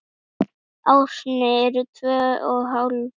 Árin eru tvö og hálft.